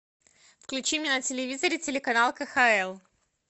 включи мне на телевизоре телеканал кхл